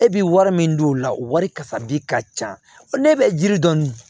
E bi wari min don o la o wari kasabi ka ca o ne bɛ jiri dɔn